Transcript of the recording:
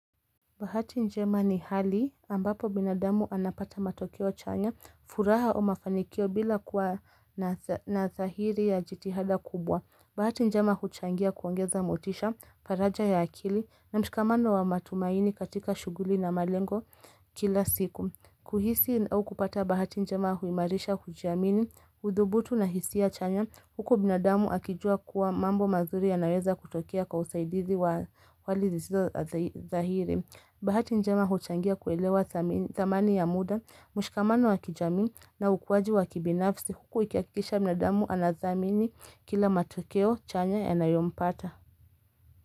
Bahati njema ni hali ambapo binadamu anapata matekeo chanya, furaha au mafanikio bila kuwa na dhahiri ya jitihada kubwa. Bahati njema huchangia kuongeza motisha, faraja ya akili na mshikamano wa matumaini katika shughuli na malengo kila siku. Kuhisi au kupata bahati njema huimarisha kujiamini, huthubutu na hisia chanya, huku binadamu akijua kuwa mambo mazuri yanaweza kutokea kwa usaidizi hali zisizo dhahiri. Bahati njema huchangia kuelewa thamani ya muda, mshikamano wa kijamii na ukuaji wa kibinafsi huku ikihakikisha binadamu anathamini kila matokeo chanya yanayompata.